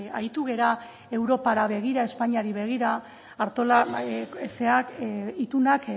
aritu gara europara begira espainiara begira artolazabal zerak itunak